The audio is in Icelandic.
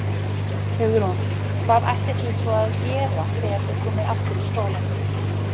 Hugrún: Hvað ætlið þið að svo að gera þegar þið komið aftur í skólann?